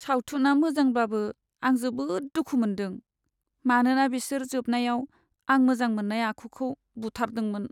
सावथुना मोजांब्लाबो आं जोबोद दुखु मोन्दों, मानोना बिसोर जोबनायाव आं मोजां मोननाय आखुखौ बुथारदोंमोन।